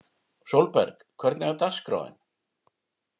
Sólberg, hvernig er dagskráin?